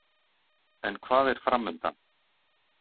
En hvað er framundan?